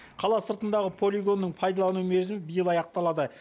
қала сыртындағы полигонның пайдалану мерзімі биыл аяқталады